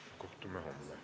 Kohtume homme.